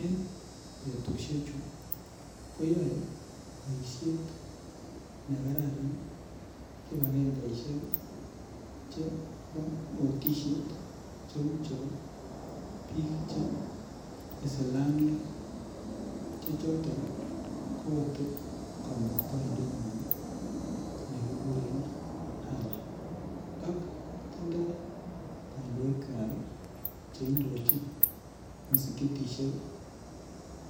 En petushen chu koyoe boisiet nekararan kibagengeishek chepa otishet cheu chepo piik che isilamiek che choton koote kamuktaindet ngw'an nekiguren Ala ak tindoy kandoik kwach cheindochin msikitishek